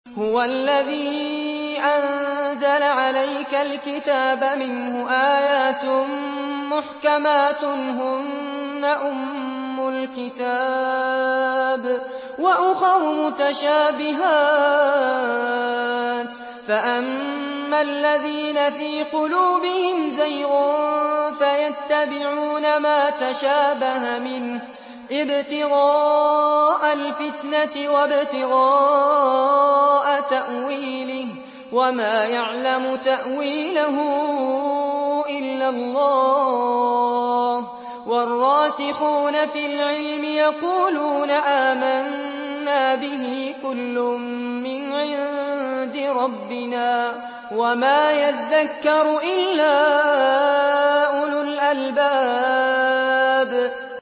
هُوَ الَّذِي أَنزَلَ عَلَيْكَ الْكِتَابَ مِنْهُ آيَاتٌ مُّحْكَمَاتٌ هُنَّ أُمُّ الْكِتَابِ وَأُخَرُ مُتَشَابِهَاتٌ ۖ فَأَمَّا الَّذِينَ فِي قُلُوبِهِمْ زَيْغٌ فَيَتَّبِعُونَ مَا تَشَابَهَ مِنْهُ ابْتِغَاءَ الْفِتْنَةِ وَابْتِغَاءَ تَأْوِيلِهِ ۗ وَمَا يَعْلَمُ تَأْوِيلَهُ إِلَّا اللَّهُ ۗ وَالرَّاسِخُونَ فِي الْعِلْمِ يَقُولُونَ آمَنَّا بِهِ كُلٌّ مِّنْ عِندِ رَبِّنَا ۗ وَمَا يَذَّكَّرُ إِلَّا أُولُو الْأَلْبَابِ